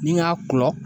Ni n y'a kɔlɔn